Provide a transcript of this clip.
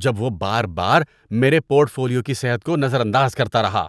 جب وہ بار بار میرے پورٹ فولیو کی صحت کو نظر انداز کرتا رہا۔